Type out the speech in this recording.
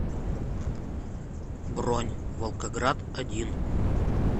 бронь волгоград один